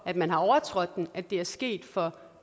at man har overtrådt den at det er sket for